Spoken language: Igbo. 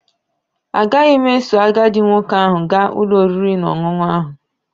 Agaghị m eso agadi nwoke ahụ gaa ụlọ oriri na ọṅụṅụ ahụ.